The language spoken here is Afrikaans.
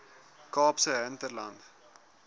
kaapse hinterland